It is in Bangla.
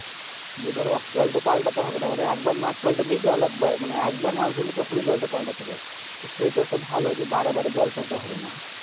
এই দর জলটা পাল্টাতে হবেনা একবার মাছ পাল্টাতে জল একবার মানি একবার মাছ হবে তখনি জলটা পাল্টাতে হবে। সেইটো একটা ভালো যে বারে বারে জল পেলতে হবেনা।